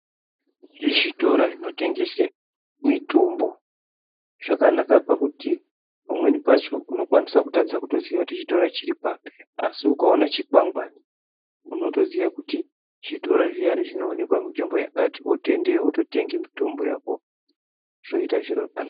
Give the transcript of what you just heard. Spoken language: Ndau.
Zvitora zvinotengese mitombo zvakanaka pakuti pamweni pacho unokwanisa kutadza kutoziya kuti chitora chiri papi asi ukaona chikwangwari unotoziya kuti zvitora zviyani zvinoonekwa munzvimbo yakati wotoendeyo wototenge mitombo yako zvoita zviro zvakanaka.